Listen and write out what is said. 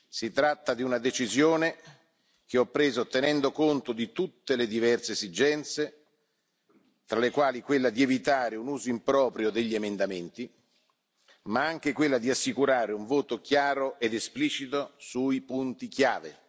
Si tratta di una decisione che ho preso tenendo conto di tutte le diverse esigenze, tra le quali quella di evitare un uso improprio degli emendamenti, ma anche quella di assicurare un voto chiaro ed esplicito sui punti chiave.